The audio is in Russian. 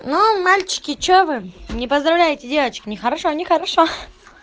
ну мальчики что вы не поздравляете девочек нехорошо нехорошо